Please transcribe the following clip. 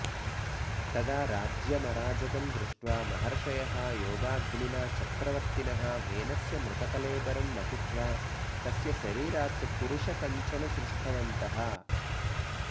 तदा राज्यमराजकं दृष्ट्वा महर्षयः योगाग्निना चक्रवर्तिनः वेनस्य मृतकळेबरं मथित्वा तस्य शरीरात् पुरुष कञ्चन सृष्टवन्तः